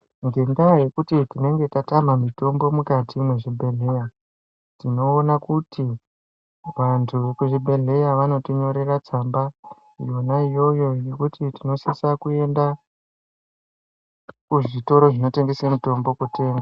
Ngenda yekuti tinenge tatama mutombo mukati mwezvibhehleya tinoon kuti vantu vekuzvibhehleya vanotinyorera tsamba yona iyoyo yekuti tinosisa kuenda kuzvitoro zvinotengesa mutombo.